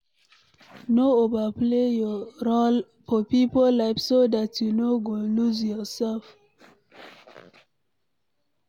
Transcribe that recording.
No overplay your role for pipo life so dat you no go loose yourself